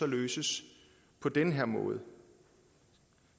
løses på den her måde